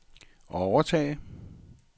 overtage